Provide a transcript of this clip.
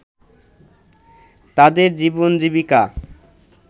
তাদের জীবনজীবিকা